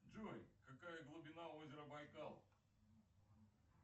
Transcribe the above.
джой какая глубина озера байкал